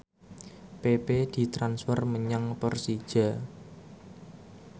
pepe ditransfer menyang Persija